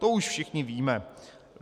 To už všichni víme.